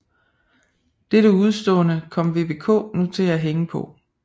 Dette udestående kom VBK nu til at hænge på